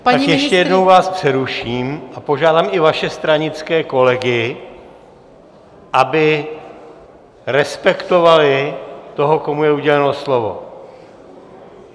Tak ještě jednou vás přeruším a požádám i vaše stranické kolegy, aby respektovali toho, komu je uděleno slovo.